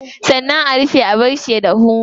Sannan a rufe a barshi ya dahu.